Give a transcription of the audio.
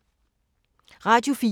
Radio 4